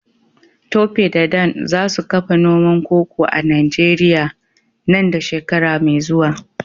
Tope da Dan za su kafa noman koko a Najeriya nan da shekara mai zuwa.